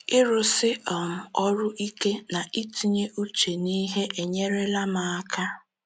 Ịrụsi um ọrụ ike na itinye uche n’ihe enyerela m aka.